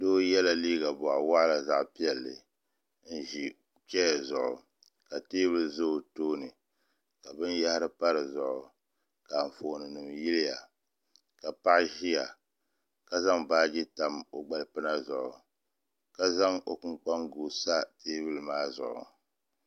Doo yela liiga bɔɣu waɣila zaɣ'piɛlli n-ʒi chaya zuɣu ka teebuli za tooni ka binyɛhiri pa di zuɣu ka anfooninima yiliya ka paɣa ʒiya ka zaŋ baaji tam o gbalipina zuɣu ka zaŋ o kpunkpanjua sa teebuli maa zuɣu.